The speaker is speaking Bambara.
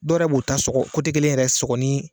Dɔ yɛrɛ b'u ta sɔgɔ kelen yɛrɛ sɔgɔ ni